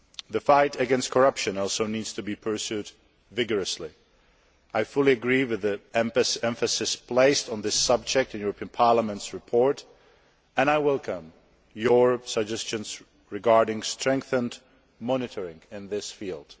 The fight against corruption also needs to be pursued vigorously. I fully agree with the emphasis placed on this subject in the European Parliament's report and I welcome your suggestions regarding strengthened monitoring in this field.